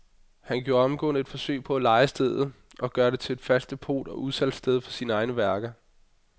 Han gjorde omgående et forsøg på at leje stedet og gøre det til fast depot og udsalgssted for sine egne værker.